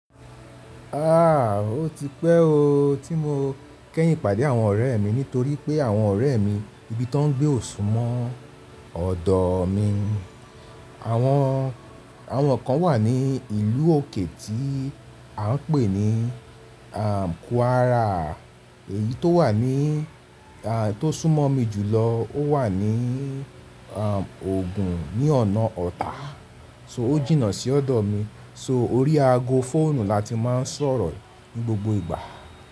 Aaa ó ti pẹ́ o tí mo kẹ́yìn pàdé àwọn ọ̀rẹ́ mi nítorí pé àwọn ọ̀rẹ́ mi ibi tó ń gbé ò súmọ́ ọ̀dọ̀ mi. Àwọn, àwọn kan wà ní ìlú òkè tí à ń pè ní àm Kwara èyí tó wà ní à tó súnmọ́ mi jùlọ ó wà ní àm Ògùn ní ọ̀nà Ọ̀tà. So ó jìnnà sí ọ̀dọ̀ mi. So orí ago fóònù la ti máa ń sọ̀rọ̀ ní gbogbo ìgbà.